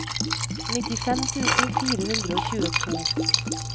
nittifem tusen fire hundre og tjueto